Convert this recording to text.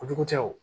O jugu tɛ wo